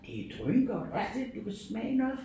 Det er drøngodt også det du kan smage noget